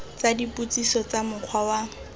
tsa dipotsiso tsa mokgwa wa